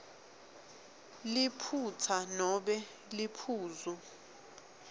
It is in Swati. liphutsa nobe liphuzu